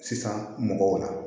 Sisan mɔgɔw la